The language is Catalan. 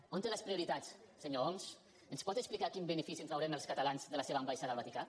on té les prioritats senyor homs ens pot explicar quin benefici en traurem els catalans de la seva ambaixada al vaticà